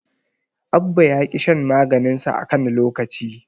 Abba ya ƙi shan maganinsa a kan lokaci.